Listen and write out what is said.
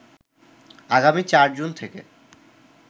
আগামী ৪ জুন থেকে